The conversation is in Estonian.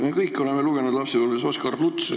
Me kõik oleme lapsepõlves lugenud Oskar Lutsu.